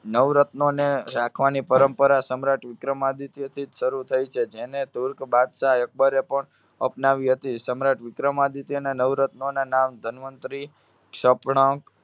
નવરત્નોને રાખવાની પરંપરા સમ્રાટ વિક્રમાદિત્યથી જ શરુ થઇ છે. જેને તુર્ક બાદશાહ અકબરે પણ અપનાવી હતી. સમ્રાટ વિક્રમાદિત્યના નવરત્નોનાં નામ ધન્વંતરિ, શપનંક,